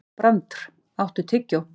Brandr, áttu tyggjó?